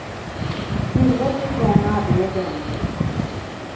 Tillräckligt många blev de ändå inte.